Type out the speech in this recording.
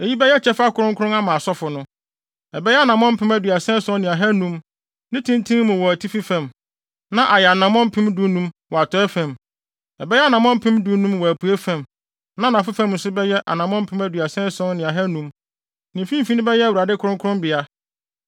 Eyi bɛyɛ kyɛfa kronkron ama asɔfo no. Ɛbɛyɛ anammɔn mpem aduasa ason ne ahannum (37,500) ne tenten mu wɔ atifi fam, na ayɛ anammɔn mpem dunum (15,000) wɔ atɔe fam. Ɛbɛyɛ anammɔn mpem dunum (15,000) wɔ apuei fam, na anafo fam nso ɛbɛyɛ anammɔn mpem aduasa ason ne ahannum (37,500). Ne mfimfini bɛyɛ Awurade kronkronbea.